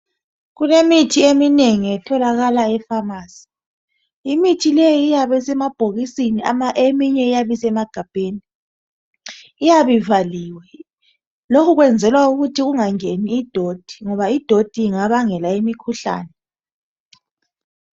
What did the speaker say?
Kulemithi eminengi etholakala efamasi. Imithi leyi iyabe isemabhokisini, eminye iyabe isemagabheni ivaliwe. Lokhu kwenzelwa ukuthi ungangeni idoti ngoba idoti ingabangela imikhuhlane.